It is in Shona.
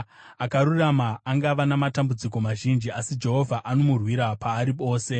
Akarurama angava namatambudziko mazhinji, asi Jehovha anomurwira paari ose;